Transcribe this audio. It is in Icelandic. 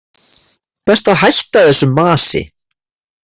Best að hætta þessu masi.